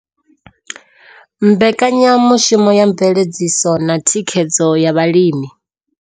Mbekanya mushumo ya Mveledziso na Thikhedzo ya Vhalimi.